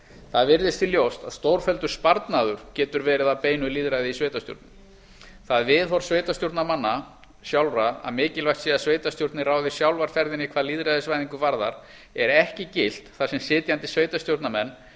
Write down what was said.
það virðist því ljóst að stórfelldur sparnaður getur verið af beinu lýðræði í sveitarstjórnum það viðhorf sveitarstjórnarmanna sjálfra að mikilvægt sé að sveitarstjórnir ráði sjálfar ferðinni hvað lýðræðisvæðingu varðar er ekki gilt þar sem sitjandi sveitarstjórnarmenn